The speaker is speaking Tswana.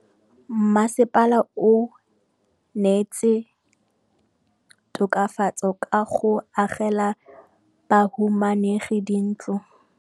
Mmasepala o neetse tokafatsô ka go agela bahumanegi dintlo.